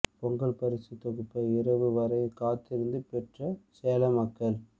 பொங்கல் பரிசு தொகுப்பை இரவு வரை காத்திருந்து பெற்ற சேலம் மக்கள்